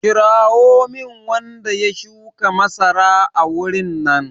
Kirawo min wanda ya shuka masara a wurin nan!